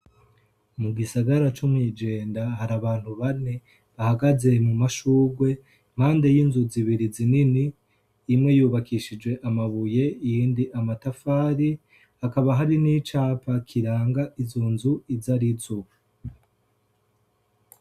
Mu gisagara cu mw'ijenda hari abantu bane bahagaze mu mashurwe mpande y'inzu zibiri zinini imwe yubakishije amabuye yindi amatafari hakaba hari n'icapa kiranga izu nzu izo arizua.